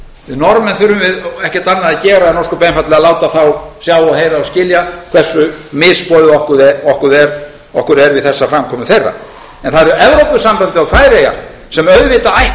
við norðmenn þurfum við ekkert annað að gera en ósköp einfaldlega láta þá sjá og heyra og skilja hversu misboðið okkur er við þessa framkomu þeirra en það eru evrópusambandið og færeyjar sem auðvitað ættu að skýra fyrir okkur hvernig stendur á